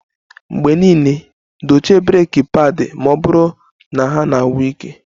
Mgbe niile dochie breeki padi ma ọ bụrụ na ha na-agwụ ike